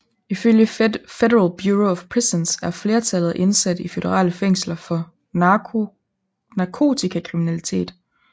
Ifølge Federal Bureau of Prisons er flertallet af indsatte i føderale fængsler for narkotikakriminalitet